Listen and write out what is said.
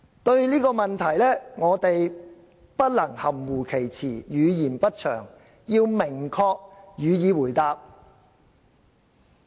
對這個問題，我們不能含糊其辭、語焉不詳，要明確予以回答。